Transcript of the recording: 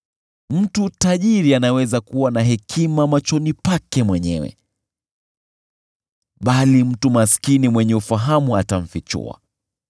Mtu tajiri anaweza kuwa na hekima machoni pake mwenyewe, bali mtu maskini mwenye ufahamu atamfichua.